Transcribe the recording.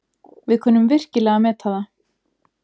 Við kunnum virkilega að meta það.